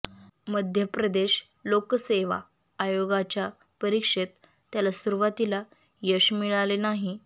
मध्य प्रदेश लोकसेवा आयोगाच्या परीक्षेत त्याला सुरवातीला यश मिळाले नाही